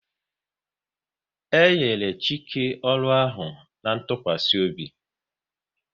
E nyere Chike ọrụ ahụ na ntụkwasị obi